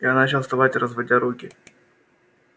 я начал вставать разводя руки